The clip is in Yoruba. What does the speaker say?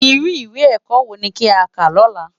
Irú iwé èkò so ni ki á rá lòlá